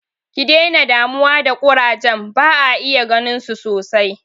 Ki dena damuwa da ƙurajen, ba'a iya ganinsu sosai.